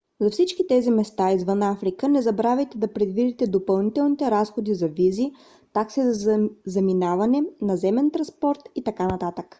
за всички тези места извън африка не забравяйте да предвидите допълнителните разходи за визи такси за заминаване наземен транспорт и т.н